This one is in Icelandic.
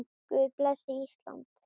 Guð blessi Ísland.